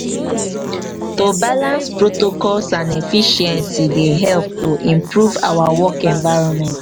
to balance protocol and efficiency dey help to improve our work environment.